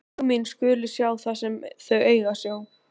Augu mín skulu sjá það sem þau eiga að sjá.